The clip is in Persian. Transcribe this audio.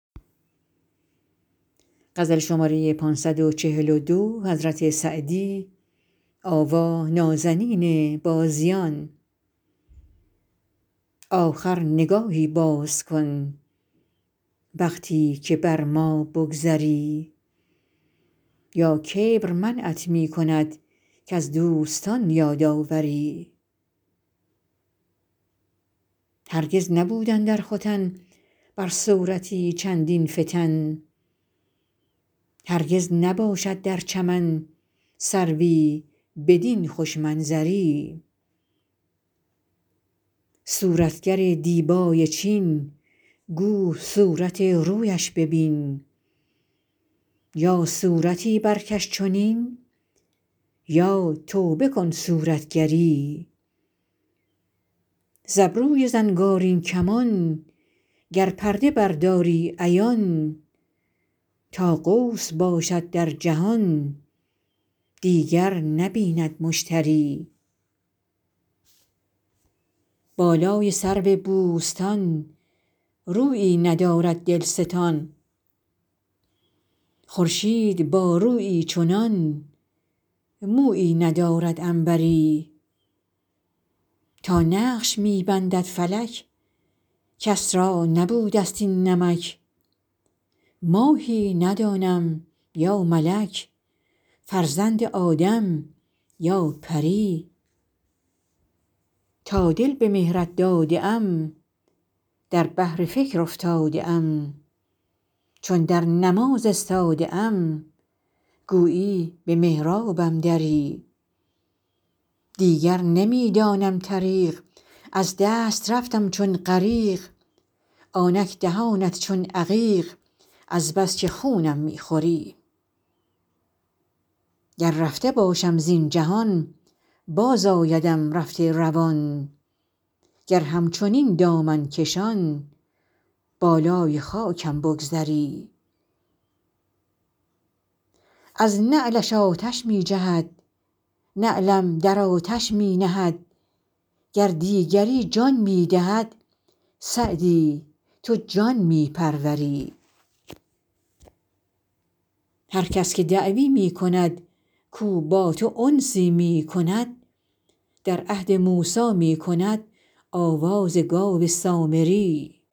آخر نگاهی باز کن وقتی که بر ما بگذری یا کبر منعت می کند کز دوستان یاد آوری هرگز نبود اندر ختن بر صورتی چندین فتن هرگز نباشد در چمن سروی بدین خوش منظری صورتگر دیبای چین گو صورت رویش ببین یا صورتی برکش چنین یا توبه کن صورتگری ز ابروی زنگارین کمان گر پرده برداری عیان تا قوس باشد در جهان دیگر نبیند مشتری بالای سرو بوستان رویی ندارد دلستان خورشید با رویی چنان مویی ندارد عنبری تا نقش می بندد فلک کس را نبوده ست این نمک ماهی ندانم یا ملک فرزند آدم یا پری تا دل به مهرت داده ام در بحر فکر افتاده ام چون در نماز استاده ام گویی به محرابم دری دیگر نمی دانم طریق از دست رفتم چون غریق آنک دهانت چون عقیق از بس که خونم می خوری گر رفته باشم زین جهان بازآیدم رفته روان گر همچنین دامن کشان بالای خاکم بگذری از نعلش آتش می جهد نعلم در آتش می نهد گر دیگری جان می دهد سعدی تو جان می پروری هر کس که دعوی می کند کاو با تو انسی می کند در عهد موسی می کند آواز گاو سامری